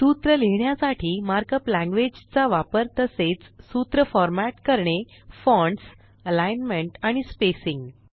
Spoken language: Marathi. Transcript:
सूत्र लिहिण्यासाठी मार्कअप लॅंग्वेज चा वापर तसेच सूत्र फॉरमॅट करणे फॉन्ट्स अलिग्नमेंट आणि स्पेसिंग